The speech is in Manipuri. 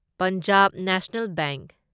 Punjab national bank